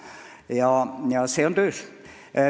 See analüüs on töös.